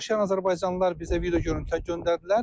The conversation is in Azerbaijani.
Burda yaşayan azərbaycanlılar bizə video görüntülər göndərdilər.